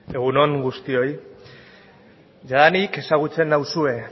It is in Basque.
egun on guztioi jadanik ezagutzen nauzue